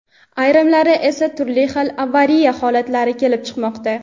ayrimlari esa turli xil avariya holatlari kelib chiqmoqda.